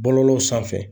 Bɔlɔlɔw sanfɛ